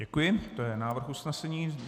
Děkuji, to je návrh usnesení.